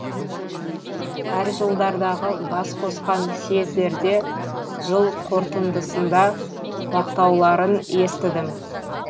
әр жылдардағы бас қосқан сьездерде жыл қортындысында мақтауларын естідім